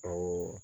Ɔ